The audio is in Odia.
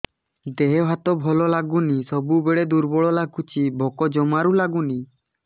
ଦେହ ହାତ ଭଲ ଲାଗୁନି ସବୁବେଳେ ଦୁର୍ବଳ ଲାଗୁଛି ଭୋକ ଜମାରୁ ଲାଗୁନି